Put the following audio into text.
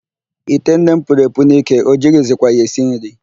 Ite nne m puru epu n'ike, o jighizikwa ya esi nri.